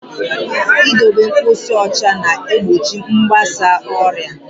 I dobe mposi ụcha na-egbochi mgbasa ọrịa.